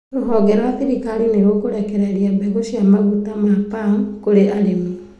Rũhonge rwa thirikari nĩrũkũrekereria mbegũ cia maguta ma Palm kũrĩ arĩmi